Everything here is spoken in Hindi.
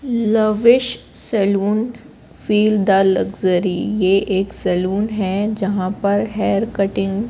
lavish salon feel the luxury यह एक सैलून है जहां पर हेयर कटिंग --